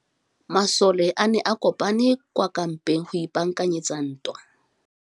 Masole a ne a kopane kwa kampeng go ipaakanyetsa ntwa.